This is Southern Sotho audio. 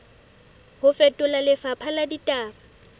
ho fetola lefapha la ditaba